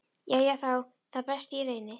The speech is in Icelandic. Jæja, þá það, best ég reyni.